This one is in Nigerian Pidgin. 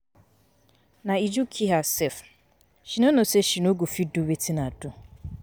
Na Uju kill herself. She no know say she no go fit do wetin I do.